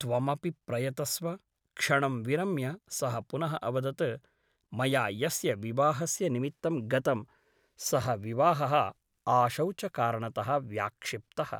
त्वमपि प्रयतस्व क्षणं विरम्य सः पुनः अवदत् मया यस्य विवाहस्य निमित्तं गतं सः विवाहः आशौचकारणतः व्याक्षिप्तः ।